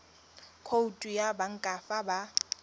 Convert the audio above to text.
khoutu ya banka fa ba